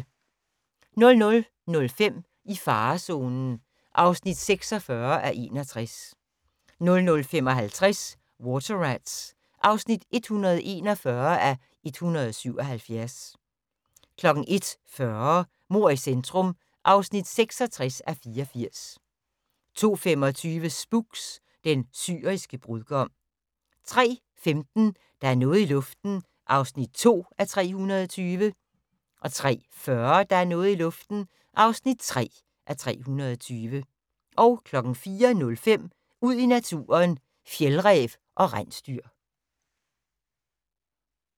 00:05: I farezonen (46:61) 00:55: Water Rats (141:177) 01:40: Mord i centrum (66:84) 02:25: Spooks: Den syriske brudgom 03:15: Der er noget i luften (2:320) 03:40: Der er noget i luften (3:320) 04:05: Ud i naturen: Fjeldræv og rensdyr